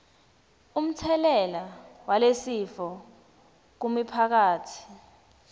umtselela walesifo kumiphakatsi